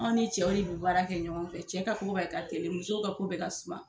Anw ni cɛw de bɛ baara kɛ ɲɔgɔn fɛ, cɛw ka ko bɛɛ ka teli, musow ka ko bɛɛ ka suma.